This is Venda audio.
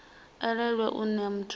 elelwe u nea muthu ane